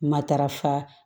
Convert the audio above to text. Matarafa